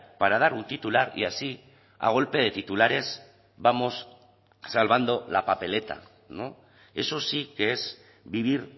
para dar un titular y así a golpe de titulares vamos salvando la papeleta no eso sí que es vivir